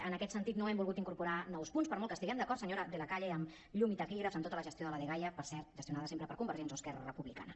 en aquest sentit no hem volgut incorporar nous punts per molt que hi estiguem d’acord senyora de la calle amb llum i taquígrafs amb tota la gestió de la dgaia per cert gestionada sempre per convergents o esquerra republicana